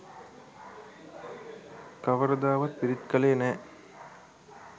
කවරදාවත් පිරිත් කළේ නෑ.